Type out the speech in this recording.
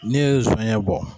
Ne yɛrɛ ye sɔnɲɛ bɔ.